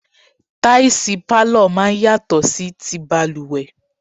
Táìsì pálọ̀ máa ń yàtọ̀ sí ti balùwẹ̀.